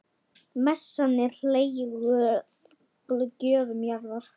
Messan er helguð gjöfum jarðar.